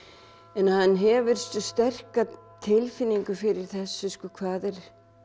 en hann hefur sterka tilfinningu fyrir þessu hvað er